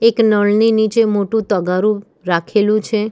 એક નળની નીચે મોટું તગારું રાખેલું છે.